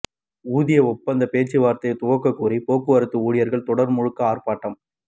ஊதிய ஒப்பந்த பேச்சுவார்த்தையை துவக்க கோரி போக்குவரத்து ஊழியர்கள் தொடர் முழக்க ஆர்ப்பாட்டம்